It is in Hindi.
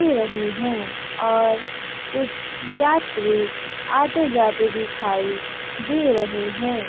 रही है और कुछ यात्री आते जाते दिखाई दे रहे हैं।